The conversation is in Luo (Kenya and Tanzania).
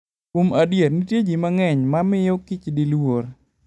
Kuom adier, nitie ji mang'eny ma miyo kichdi luor.